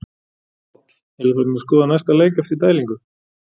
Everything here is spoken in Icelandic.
Páll: Eruð þið farnir að skoða næsta leik eftir dælingu?